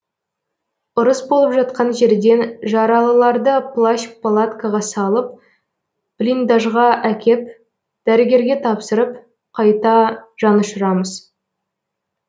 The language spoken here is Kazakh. ұрыс болып жатқан жерден жаралыларды плащ палаткаға салып блиндажға әкеп дәрігерге тапсырып қайта жанұшырамыз